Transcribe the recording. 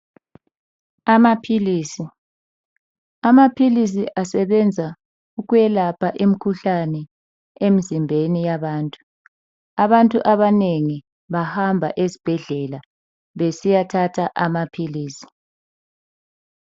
Amaphilisi, amaphilisi asebenza ukwelapha imikhuhlane emzimbeni yabantu . Abantu abanengi bahamba esibhedlela besiyathatha amaphilisi.